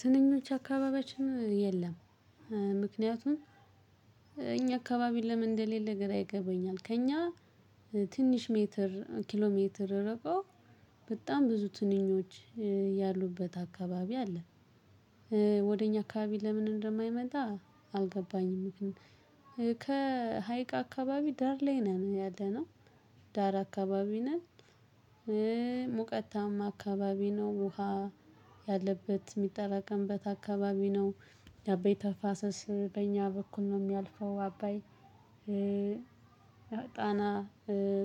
ትንኞች አካባቢያችን የለም ምክንያቱም እኛ አካባቢ ለምን እንደሌለ ግራ ይገባኛል ከእኛ ትንሽ ሜትር ኪሎ ሜትር ርቀው በጣም ብዙ ትንኞች ያሉበት አካባቢ አለ። ወደ እኛ አካባቢ ለምን እንደማይመጣ አልገባኝም እንዴ። ከሀይቅ አካባቢ ዳር ላይ ነን ያለነው ዳር አካባቢ ነን። ሙቀታማ አካባቢ ነው ውሃ ያለበት የሚጠራቀምበት አካባቢ ነው። የአባይ ተፋሰስ በኛ በኩል ነው የሚያልፈው አባይ። ጣና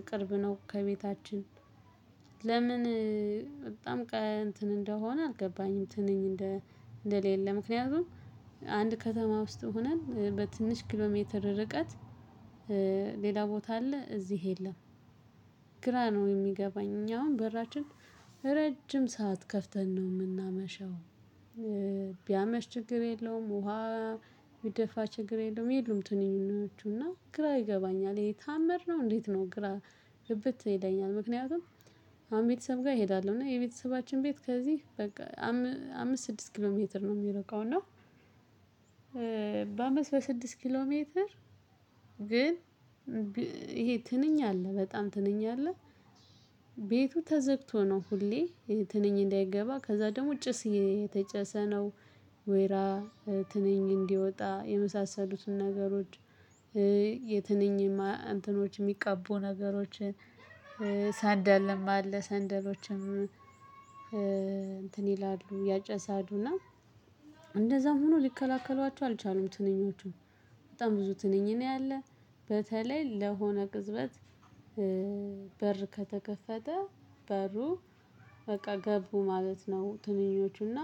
ቅርብ ነው ከቤታችን። ለምን በጣም ቀን እንትን እንደሆነ አልገባኝም። ትንኝ እንደ እንደሌለ ምክንያቱም አንድ ከተማ ውስጥ ሆነን በትንሽ ኪሎ ሜትር ርቀት ሌላ ቦታ አለ እዚህ የለም። ግራ ነው የሚገባኝ እኛ አሁን በራችን ረጅም ሰዓት ከፍተን ነው የምናመሸው። ቢያመሽ ችግር የለውም ውሃ ቢደፋ ችግር የለውም። ይሉም ትንኞቹ እና ግራ ይገባኛል ይሄ ተአምር ነው እንዴት ነው ግራ ግብት ይለኛል። ምክንያቱም አሁን ቤተሰብ ጋር እሄዳለሁ እና የቤተሰባችን ቤት ከዚህ በቃ አምስት ስድስት ኪሎ ሜትር ነው የሚርቃው እና። በስድስት ኪሎ ሜትር ግን ይሄ ትንኝ አለ በጣም ትንኝ አለ። ቤቱ ተዘግቶ ነው ሁሌ ይሄ ትንኝ እንዳይገባ ከዛ ደግሞ ጭስ እየተጨሰ ነው። ወይራ ትንኝ እንዲወጣ የመሳሰሉትን ነገሮች። የትንኝ እንትኖች የሚቀቡ ነገሮችን ሳንደል አለ ሰንደሎችን። እንትን ይላሉ ያጨሳሉ እና እንደዛም ሆኖ ሊከላከሏቸው አልቻሉም ትንኞቹን በጣም ብዙ ትንኝ ነው ያለ። በተለይ ለሆነ ቅጽበት። ከተከፈተ በሩ በቃ ገቡ ማለት ነው። ትንኞቹና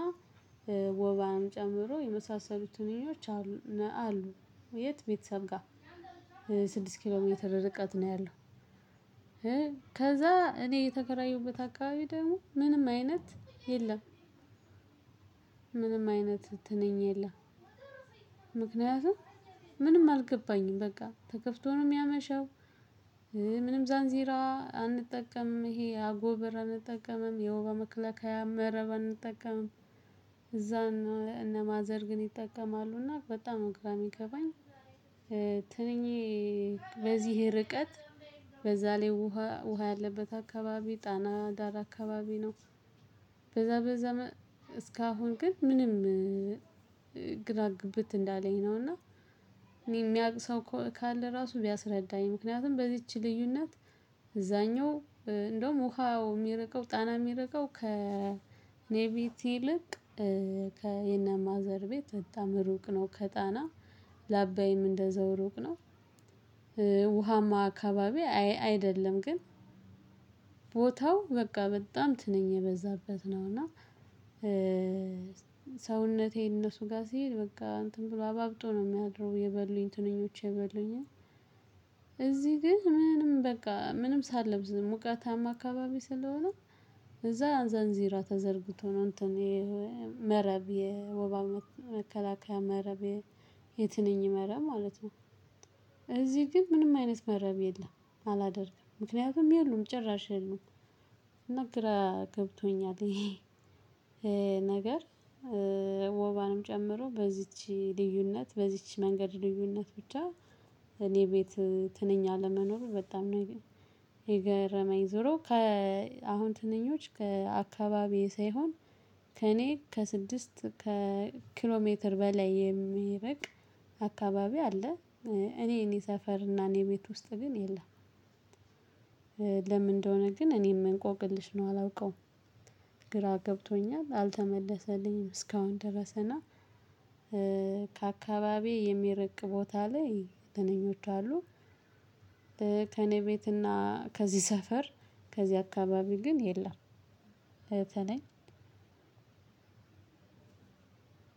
ወባም ጨምሮ የመሳሰሉት ትንኞች አሉ። የት ቤተሰብ ጋር ስድስት ኪሎ ሜትር ርቀት ነው ያለው። ከዛ እኔ የተከራየሁበት አካባቢ ደግሞ ምንም አይነት የለም። ምንም አይነት ትነኝ የለም። ምክንያቱም ምንም አልገባኝም በቃ ተከፍቶ ነው የሚያመሸው። ምንም ዛንዜራ አንጠቀምም ይሄ አጎበር አንጠቀምም የውባ መከላከያ መረብ አንጠቀምም። እነ ማዘር ግን ይጠቀማሉና በጣም ግራ የሚገባኝ ትንኝ በዚህ ርቀት በዛ ላይ ውሃ ውሃ ያለበት አካባቢ ጣና ዳር አካባቢ ነው። በዛ በዛ እስካሁን ግን ምንም ግራ ግብት እንዳለኝ ነው። እና እኔ የሚያውቅ ሰው ካለ ራሱ ቢያስረዳኝ ምክንያቱም በዚች ልዩነት። እንደውም ውሃው የሚርቀው ጣና የሚርቀው ከኔ ቤት ይልቅ ከ የነ ማዘር ቤት በጣም ሩቅ ነው ከጣና ለአባይም እንደዛው ሩቅ ነው። ውሃማ አካባቢ አይደለም ግን ቦታው በቃ በጣም ትነኝ የበዛበት ነው እና። ሰውነቴ እነሱ ጋር ሲሄድ በቃ እንትን ብሎ አባብጦ ነው የሚያድሩ የበሉኝ ትንኞቼ የበሉኝ። እዚህ ግን ምንም በቃ ምንም ሳለብስ ሙቀታማ አካባቢ ስለሆነ። እዛ አንዛንዚራ ተዘርግቶ ነው እንትን ይሄ መረብ የወባ መከላከያ መረብ የትንኝ መረብ ማለት ነው። እዚህ ግን ምንም አይነት መረብ የለም አላደርግም ምክንያቱም የሉም ጭራሽ የሉም። እና ግራገብቶኛል። ነገር ወባንም ጨምሮ በዚች ልዩነት በዚች መንገድ ልዩነት ብቻ እኔ ቤት ትንኝ አለመኖር በጣም ነው የገረመኝ ዞሮ ከአሁን ትንኞች ከአካባቢዬ ሳይሆን። ከእኔ ከስድስት ኪሎ ሜትር በላይ የሚርቅ አካባቢ አለ። እኔ እኔ ሰፈር እና እኔ ቤት ውስጥ ግን የለም። ለምን እንደሆነ ግን እኔም እንቆቅልሽ ነው አላውቀውም ግራ ገብቶኛል አልተመለሰልኝም እስካሁን ድረስ እና። ከአካባቢ የሚረቅ ቦታ ላይ ትንኞች አሉ። ከእኔ ቤት እና ከዚህ ሰፈር ከዚህ አካባቢ ግን የለም። ትንኝ